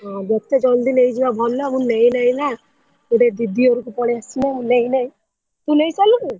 ହଁ ଯେତେ ଜଲ୍ଦି ନେଇଯିବା ଭଲ ମୁଁ ନେଇନାହିନା ଗୋଟେ ଦିଦି ଘରକୁ ପଳେଇ ଆସିଛି ମ ନେଇନାହି ତୁ ନେଇସାରିଲୁଣୁ?